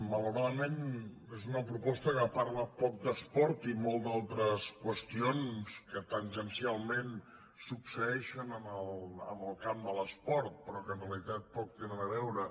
malauradament és una proposta que parla poc d’esport i molt d’altres qüestions que tangencialment succeeixen en el camp de l’esport però que en realitat poc hi tenen a veure